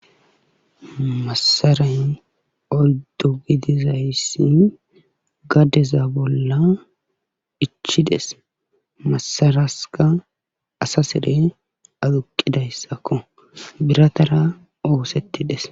Masaray oydu gidizayssi gadeza bolla ichides. masaraskka asa sern aduuqidayssakko. biratara oosetidees.